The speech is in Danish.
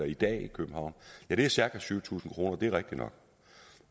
i dag i københavn er det cirka syv tusind kroner det er rigtigt nok